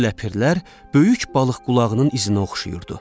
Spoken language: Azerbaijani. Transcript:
Bu ləpirlər böyük balıq qulağının izinə oxşayırdı.